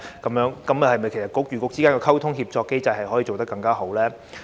其實政策局與政策局之間的溝通協作機制怎樣可以做得更好呢？